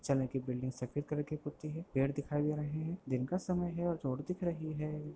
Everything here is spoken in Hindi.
चने की बिल्डिंग सफेद कलर की पुती है पेड़ दिखाई दे रहें हैं दिन का समय है और रोड दिख रही है।